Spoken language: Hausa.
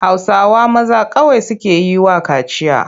Hausawa maza kawai suke yi wa kaciya.